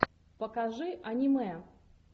покажи аниме